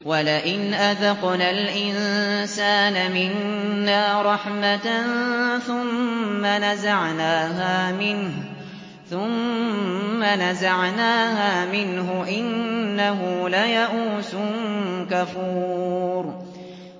وَلَئِنْ أَذَقْنَا الْإِنسَانَ مِنَّا رَحْمَةً ثُمَّ نَزَعْنَاهَا مِنْهُ إِنَّهُ لَيَئُوسٌ كَفُورٌ